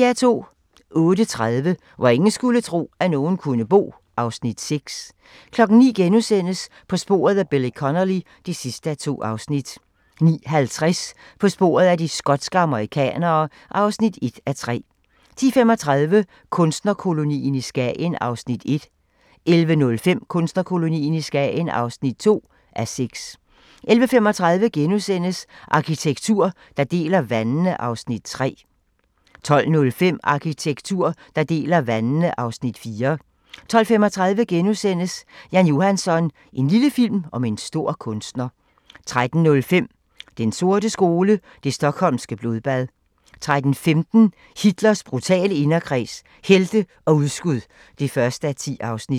08:30: Hvor ingen skulle tro, at nogen kunne bo (Afs. 6) 09:00: På sporet af Billy Connolly (2:2)* 09:50: På sporet af de skotske amerikanere (1:3) 10:35: Kunstnerkolonien i Skagen (1:6) 11:05: Kunstnerkolonien i Skagen (2:6) 11:35: Arkitektur, der deler vandene (Afs. 3)* 12:05: Arkitektur, der deler vandene (Afs. 4) 12:35: Jan Johansson – en lille film om en stor kunstner * 13:05: Den sorte skole: Det Stockholmske Blodbad 13:15: Hitlers brutale inderkreds – helte og udskud (1:10)